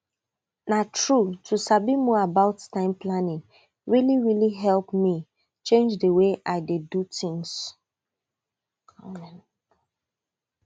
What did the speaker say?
na true to sabi more about time planning really really help me change the way i take dey do tins